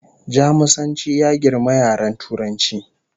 Jamusanci ya girmi yaren Turanci